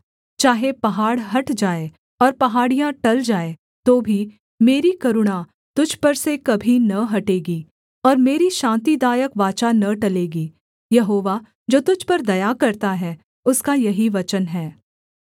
चाहे पहाड़ हट जाएँ और पहाड़ियाँ टल जाएँ तो भी मेरी करुणा तुझ पर से कभी न हटेगी और मेरी शान्तिदायक वाचा न टलेगी यहोवा जो तुझ पर दया करता है उसका यही वचन है